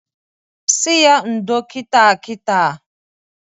Sị ya ndo kita kita!